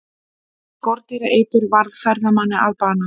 Skordýraeitur varð ferðamanni að bana